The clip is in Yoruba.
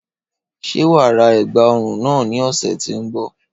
Ṣé wàá ra ègbà ọrùn náà ní ọ̀sẹ̀ tí ó ń bọ̀